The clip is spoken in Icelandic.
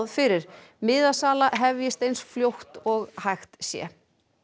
fyrir miðasala hefjist eins fljótt og hægt sé